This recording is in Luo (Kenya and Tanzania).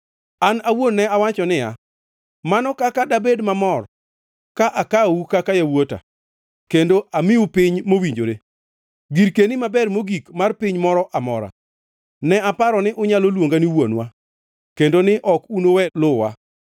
“An awuon ne awacho niya, “ ‘Mano kaka dabed mamor ka akawou kaka yawuota kendo amiu piny mowinjore, girkeni maber mogik mar piny moro amora.’ Ne aparo ni unyalo luonga ni ‘Wuonwa,’ kendo ni ok unuwe luwa.